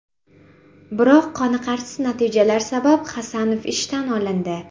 Biroq qonirqarsiz natijalar sabab Hasanov ishdan olindi.